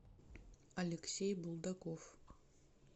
алексей булдаков